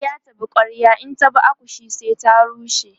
kwarya ta bi kwarya in ta bi akushe sai ta rushe